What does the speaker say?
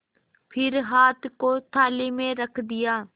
फिर हाथ को थाली में रख दिया